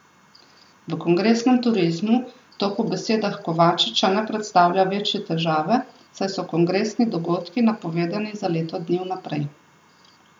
V kongresnem turizmu to po besedah Kovačiča ne predstavlja večje težave, saj so kongresni dogodki napovedani za leto dni vnaprej.